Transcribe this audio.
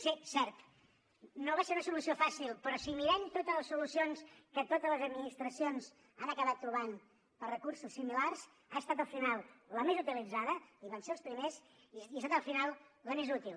sí cert no va ser una solució fàcil però si mirem totes les solucions que totes les administracions han acabat trobant per recursos similars ha estat al final la més utilitzada i vam ser els primers i ha estat al final la més útil